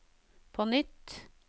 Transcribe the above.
på nytt